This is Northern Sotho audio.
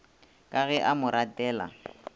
ka ge a mo ratela